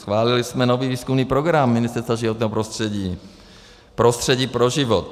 Schválili jsme nový výzkumný program Ministerstva životního prostředí Prostředí pro život.